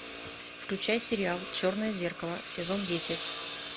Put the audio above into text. включай сериал черное зеркало сезон десять